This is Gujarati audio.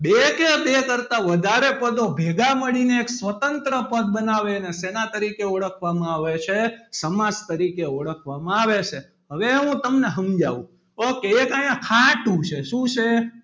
બે એકે બે કરતા વધારે પદો ભેગા મળીને એક સ્વતંત્ર પદ બનાવે અને શેના તરીકે ઓળખવામાં આવે છે સમાસ તરીકે ઓળખવામાં આવે છે હવે હું તમને સમજાવું ok એક અહિયાં ખાટુ છે. શું છે?